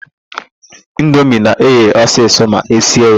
Indomie na-eghe ọsịsọ ma esie ya.